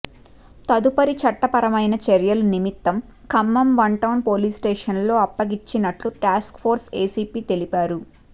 తదుపరి చట్టపరమైన చర్యల నిమిత్తం Khammam one town police station లో అప్పగించినట్లు టాస్క్ ఫోర్స్ ఏసీపీ తెలిపారు